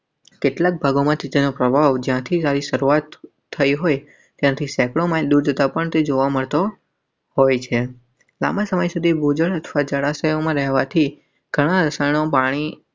કેટલાક ભાગોમાં તેનો પ્રભાવ જયાંથી સારી શરૂઆત થઈ હોય. તાપમાન થી જોવા મળતો હોય છે. સામા સમય સુધી ભોજન અથવા જળાશય અમરવાથી.